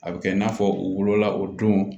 A bɛ kɛ i n'a fɔ u wolola o don